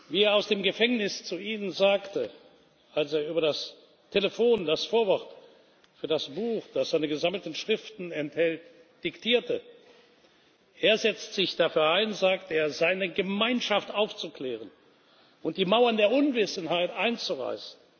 Wie er aus dem Gefängnis zu Ihnen sagte, als er über das Telefon das Vorwort für das Buch, das seine gesammelten Schriften enthält, diktierte Er setzt sich dafür ein, sagt er, seine Gemeinschaft aufzuklären und die Mauern der Unwissenheit einzureißen.